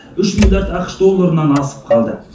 үш миллиард ақш долларынан асып қалды